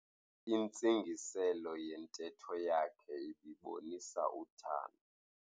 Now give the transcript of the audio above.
Intsingiselo yentetho yakhe ibibonisa uthando.